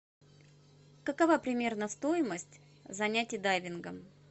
какова примерно стоимость занятий дайвингом